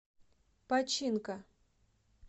починка